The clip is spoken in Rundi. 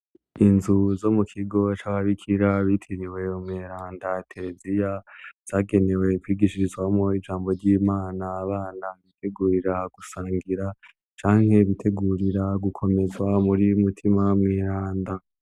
Inzu zo mu kigo c'ababikira bitiriwe umweranda Tereziya zagenewe kwigiishirizwamo ijambo ry'imana abana bitegurira gusangira canke bitegurira gukomezwa muri mutima mwiranda.